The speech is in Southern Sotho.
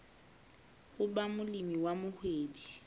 ho ba molemi wa mohwebi